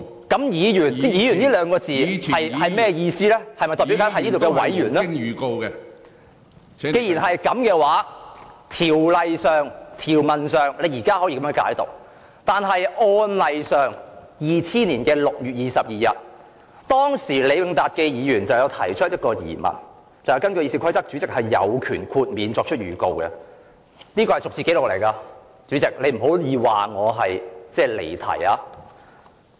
既然如此，在條文上，你現在可以如此解讀，但在案例上 ，2000 年6月22日，前議員李永達先生提出了一個疑問："根據《議事規則》主席是有權豁免作出預告的"......這是逐字紀錄，主席，你不可以說我離題。